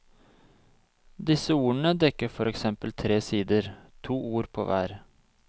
Disse ordene dekker for eksempel tre sider, to ord på hver.